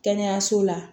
Kɛnɛyaso la